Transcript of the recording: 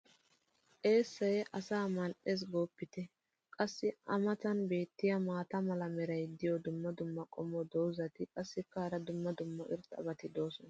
eessay asaa mal'ees gooppite. qassi a matan beetiya maata mala meray diyo dumma dumma qommo dozzati qassikka hara dumma dumma irxxabati doosona.